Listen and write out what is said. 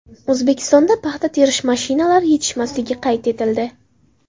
O‘zbekistonda paxta terish mashinalari yetishmasligi qayd etildi.